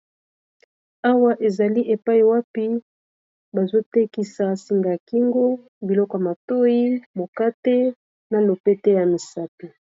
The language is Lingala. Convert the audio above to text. Awa ezali epai wapi bazotekisa singa ya kingo biloko y matoi mokate na lopete ya misato.